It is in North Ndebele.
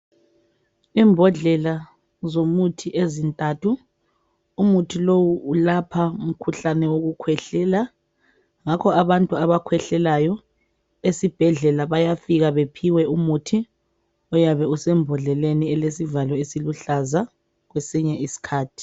Imbodlela zomuthi ezintathu umuthi lowu ulapha umkhuhlane wokukhwehlela ngakho abantu abakhwehlelayo esibhedlela bayafika bephiwe umuthi oyabe usembondleleni elesivalo esiluhlaza kwesinye isikhathi.